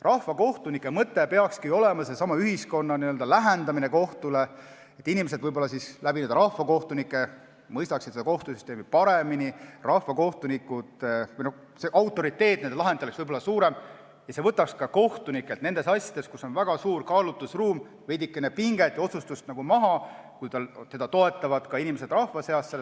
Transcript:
Rahvakohtunike mõte peaks olema ühiskonna lähendamine kohtule, et inimesed rahvakohtunike abil mõistaksid kohtusüsteemi paremini, nende lahendite autoriteet oleks võib-olla suurem ja see võtaks ka kohtunikelt nendes asjades, kus on väga suur kaalutlusruum, veidikene otsustuspinget maha, kui selle otsuse tegemisel toetavad teda inimesed rahva seast.